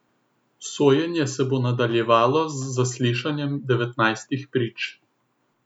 Sojenje se bo nadaljevalo z zaslišanjem devetnajstih prič.